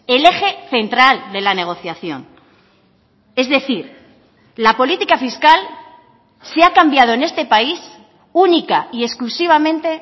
el eje central de la negociación es decir la política fiscal se ha cambiado en este país única y exclusivamente